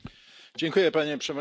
Panie Przewodniczący!